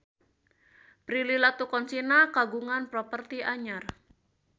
Prilly Latuconsina kagungan properti anyar